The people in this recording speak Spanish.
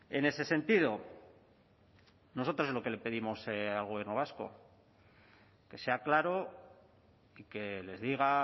en ese sentido nosotros lo que le pedimos al gobierno vasco que sea claro que les diga a